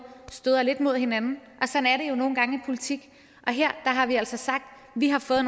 støder lidt mod hinanden og nogle gange i politik og her har vi altså sagt at vi har fået